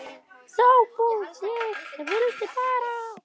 SOPHUS: Ég vildi bara.